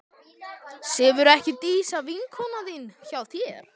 Sefur ekki Dísa, vinkona þín, hjá þér?